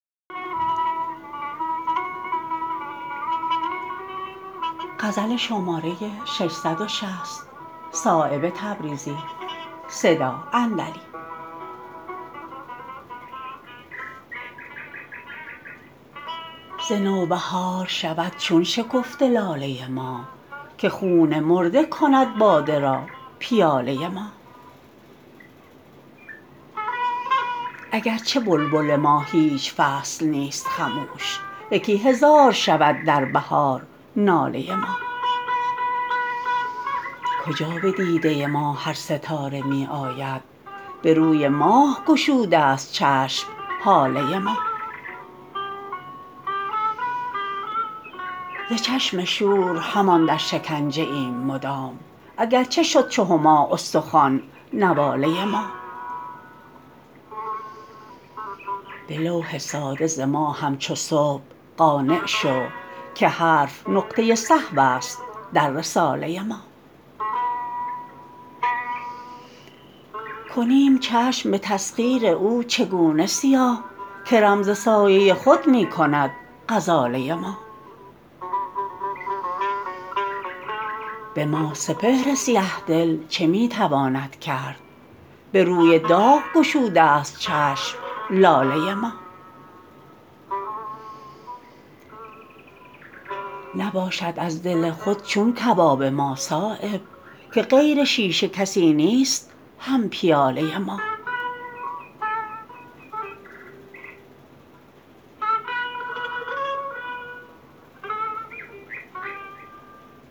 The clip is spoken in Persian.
ز نوبهار شود چون شکفته لاله ما که خون مرده کند باده را پیاله ما اگر چه بلبل ما هیچ فصل نیست خموش یکی هزار شود در بهار ناله ما کجا به دیده ما هر ستاره می آید به روی ماه گشوده است چشم هاله ما ز چشم شور همان در شکنجه ایم مدام اگر چه شد چو هما استخوان نواله ما به لوح ساده ز ما همچو صبح قانع شو که حرف نقطه سهوست در رساله ما کنیم چشم به تسخیر او چگونه سیاه که رم ز سایه خود می کند غزاله ما به ما سپهر سیه دل چه می تواند کرد به روی داغ گشوده است چشم لاله ما نباشد از دل خود چون کباب ما صایب که غیر شیشه کسی نیست هم پیاله ما